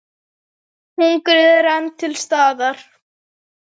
Hungrið er enn til staðar.